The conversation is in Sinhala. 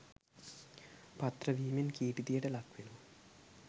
පාත්‍ර වීමෙන් කීර්තියට ලක්වෙනවා.